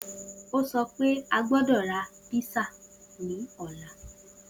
O sọ pe a gbọdọ ra písà ni ọla